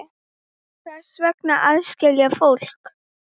Hvers vegna að aðskilja fólk?